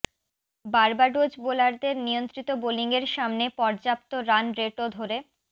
Barbados বোলারদের নিয়ন্ত্রিত বোলিংয়ের সামনে পর্যাপ্ত রান রেটও ধরে